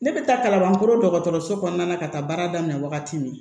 Ne bɛ taa kalabankoro dɔgɔtɔrɔso kɔnɔna ka taa baara daminɛ wagati min